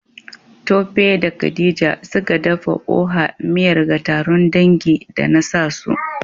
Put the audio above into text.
Tope da Khadija, suka dafa Oha miyar ga taron dangi. da nasa su